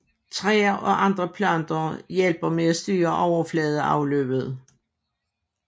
Træer og andre planter hjælper med at styre overfladeafløbet